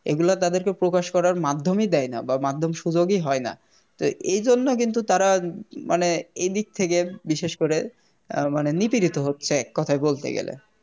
এগুলা তাদেরকে প্রকাশ করার মাধ্যমই দেয় না বা মাধ্যম সুযোগই হয় না তো এই জন্য কিন্তু তারা মানে এইদিক থেকে বিশেষ করে অ্যাঁ মানে নিপীড়িত হচ্ছে কথায় বলতে গেলে